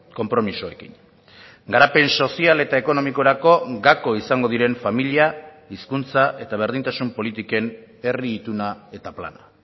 konpromisoekin garapen sozial eta ekonomikorako gako izango diren familia hizkuntza eta berdintasun politiken herri ituna eta plana